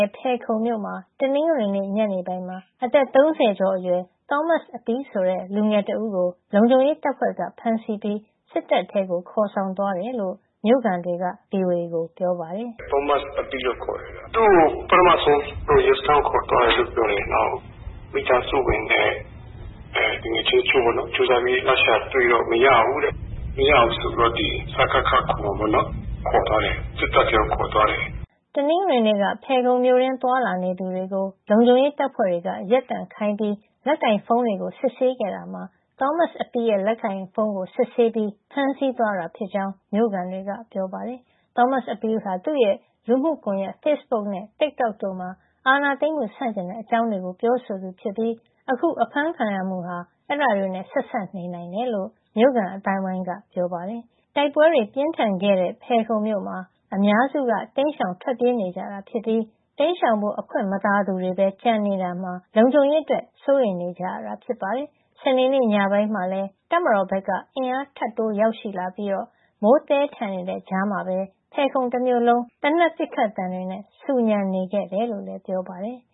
ယ်ခုံမြို့မှာ တနင်္ဂနွေနေ့ ညနေပိုင်းမှာ အသက် ၃၀ ကျော်အရွယ် သောမတ်အပီးဆိုတဲ့ လူငယ်တဦးကို လုံခြုံရေးတပ်ဖွဲ့က ဖမ်းဆီးပြီး စစ်တပ်ထဲကို ခေါ်ဆောင်သွားကြောင်း မြို့ခံတွေက ဗွီအိုအေကို ပြောပါတယ်။ “သောမတ်အပီးလို့ ခေါ်တယ်။ သူ့ကို ပထမဆုံး ရဲစခန်းကို ခေါ်သွားတယ် ပြောတယ်။ နောက် မိသားစုဝင်တချို့နဲ့ သူငယ်ချင်းတွေက လိုက်ရှာပြီး တွေ့တော့ မရဘူးတဲ့။ မရဘူးဆိုပြီးတော့ ဒီ စကခ ခေါ်မှာပေါ့နော်။ စစ်တပ်ထဲကို ခေါ်သွားတယ်။” တနင်္ဂနွေနေ့က ဖယ်ခုံမြို့တွင်း သွားလာနေသူတွေကို လုံခြုံရေးတပ်ဖွဲ့တွေက ရပ်တန့်ခိုင်းပြီး လက်ကိုင်ဖုန်းတွေကို စစ်ဆေးခဲ့တာမှာ သောမတ်အပီးရဲ့ လက်ကိုင်ဖုန်းကို စစ်ဆေးပြီး ဖမ်းဆီးသွားတာဖြစ်ကြောင်း မြို့ခံတွေက ပြောပါတယ်။ သောမတ်အပီးဟာ သူ့ရဲ့ လူမှုကွန်ရက် Facebook နဲ့ Tik Tok တို့မှာ အာဏာသိမ်းမှု ဆန့်ကျင်တဲ့ အကြောင်းတွေ ပြောဆိုသူဖြစ်ပြီး အခုဖမ်းခံရမှုဟာ အဲဒါတွေနဲ့ ဆက်စပ်နိုင်တယ်လို့လည်း မြို့ခံအသိုင်းအဝိုင်းက ပြောပါတယ်။ တိုက်ပွဲတွေ ပြင်းထန်ခဲ့တဲ့ ဖယ်ခုံမြို့မှာ အများစုက တိမ်းရှောင် ထွက်ပြေးနေကြပြီး တိမ်းရှောင်ဖို့ အခွင့်မသာသူတွေဘဲ ကျန်ရှိနေတာမှာ လုံခြုံရေးအတွက် စိုးရိမ်နေကြရတာပါ။ စနေနေ့ညပိုင်းမှာလည်း တပ်မတော်ဘက်က အင်အားထပ်တိုး ရောက်ရှိလာပြီး မိုးသည်းထန်နေတဲ့ ကြားထဲမှာပဲ ဖယ်ခုံတမြို့လုံး သေနတ်ပစ်ခတ်သံတွေ ဆူညံနေခဲ့တယ်လို့လည်း ပြောပါတယ်။